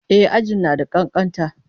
E, aji na da ƙanƙanta.